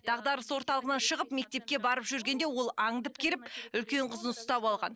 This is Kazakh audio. дағдарыс орталығынан шығып мектепке барып жүргенде ол аңдып келіп үлкен қызын ұстап алған